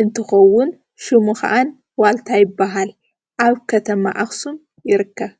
እንትከዉን ሽሙ ከኣን ዋልታ ይበሃል ። ኣብ ከተማ ኣክሱም ይርከብ።